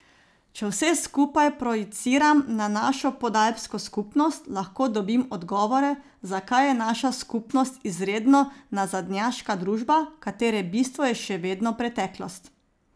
Če vse skupaj projiciram na našo Podalpsko skupnost, lahko dobim odgovore, zakaj je naša skupnost izredno nazadnjaška družba, katere bistvo je še vedno preteklost.